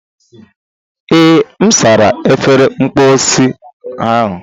Ee, M sara efere mposi ahụ.